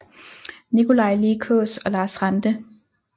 Nikolaj Lie Kaas og Lars Ranthe